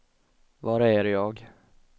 var är jag